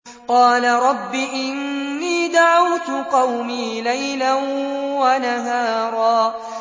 قَالَ رَبِّ إِنِّي دَعَوْتُ قَوْمِي لَيْلًا وَنَهَارًا